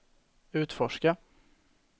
utforska